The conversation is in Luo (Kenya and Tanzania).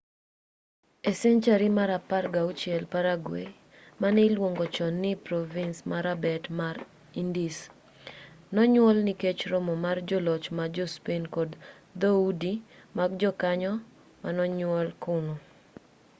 e senchari mar 16 paraguay mane iluongo chon ni provins marabet mar indies nonyuol nikech romo mar joloch ma jo-spain kod dhoudi mag jokanyo manonyuol kuno